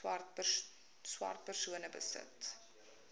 swart persone besit